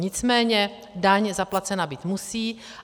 Nicméně daň zaplacena být musí.